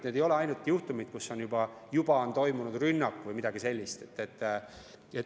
Need ei ole ainult juhtumid, kus juba on toimunud rünnak või midagi sellist.